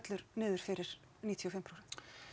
niður fyrir níutíu og fimm prósent